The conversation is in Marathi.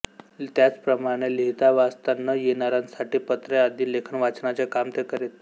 त्याचप्रमाणे लिहितावाचता न येणारांसाठी पत्रे आदी लेखनवाचनाचे काम ते करीत